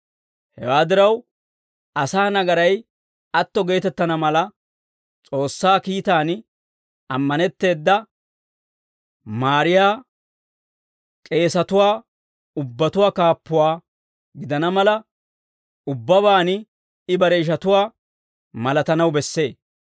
Hewaa diraw, asaa nagaray atto geetettana mala, S'oossaa kiitaan ammanetteeda maariyaa k'eesatuwaa ubbatuwaa kaappuwaa gidana mala, ubbabaan I bare ishatuwaa malatanaw bessee.